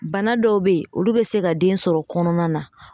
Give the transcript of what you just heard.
Bana dɔw bɛ yen olu bɛ se ka den sɔrɔ kɔnɔna na